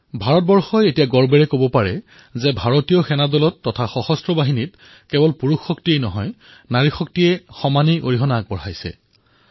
ভাৰতে গৰ্বেৰে কব পাৰে যে ভাৰতৰ সেনাত সশস্ত্ৰ বাহিনীত কেৱল পুৰুষৰ শক্তিয়েই নহয় স্ত্ৰী শক্তিও আছে